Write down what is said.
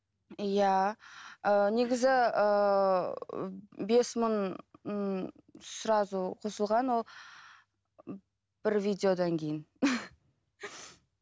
иә ііі негізі ііі бес мың ыыы сразу қосылған ол бір видеодан кейін